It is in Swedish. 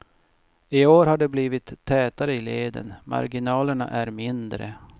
I år har det blivit tätare i leden, marginalerna är mindre.